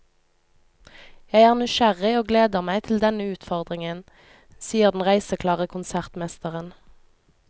Jeg er nysgjerrig og gleder meg til denne utfordringen, sier den reiseklare konsertmesteren.